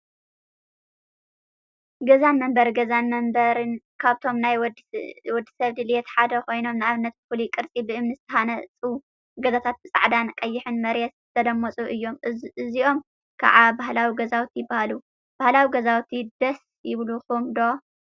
ገዛን መንበሪን ገዛን መንበሪን ካብቶም ናይ ወዲ ሰብ ድሌት ሓደ ኮይኖም፤ ንአብነት ብፍሉይ ቅርፂ ብእምኒ ዝተሃነፁ ገዛታት ብፃዕዳን ቀይሕን መሬት ዝተለመፁ እዮም፡፡ እዚኦም ከዓ ባህላዊ ገዛውቲ ይበሃሉ፡፡ ባህላዊ ገዛውቲ ደስ ይብለኩም ዶ?